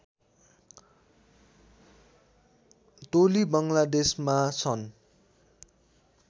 टोली बङ्गलादेशमा सन्